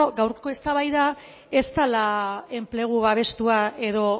gaurko eztabaida ez dela enplegu babestua edo